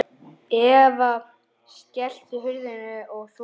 Eva: Skelltu hurðum og svona?